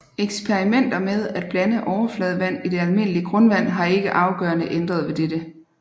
Eksperimenter med at blande overfladevand i det almindelige grundvand har ikke afgørende ændret ved dette